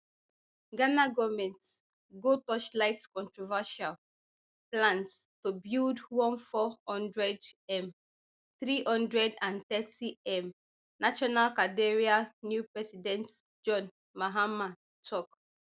ghana goment go torchlight controversial plans to build one four hundredm three hundred and thirtym national cathedral new president john mahama tok